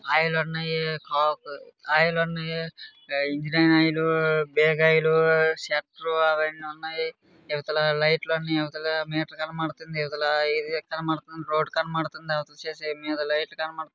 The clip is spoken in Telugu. ఆయిల్ ఉన్నాయి ఆ ఆయిల్ ఉన్నాయి ఇంజిన్ ఆయిల్ డేగ ఆయిల్ షట్టర్ అవన్నీ ఉన్నాయి ఇవతల లిట్లున్నాయి ఇవతల మీటర్ కనబడుతుంది ఇవతల ఒకలా రోడ్ కనబడుతుంది అవతల లైట్లు కనబడుతున్నాయి.